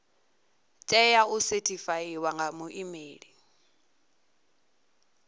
tea u sethifaiwa nga muimeli